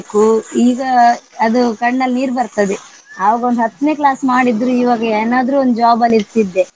ಈಗ ಅದು ಕಣ್ಣಲ್ ನೀರ್ ಬರ್ತದೆ. ಆವಾಗ ಒಂದ್ ಹತ್ನೆ class ಮಾಡಿದ್ರು ಈವಾಗ ಏನಾದ್ರು ಒಂದ್ job ಲ್ಲಿರತಿದ್ದೆ.